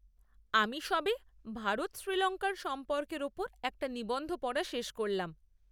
আমি সবে ভারত শ্রীলঙ্কার সম্পর্কের ওপর একটা নিবন্ধ পড়া শেষ করলাম।